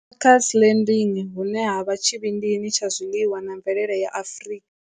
Makers Landing, hune ha vha tshi vhindini tsha zwiḽiwa na mvelele ya Afrika.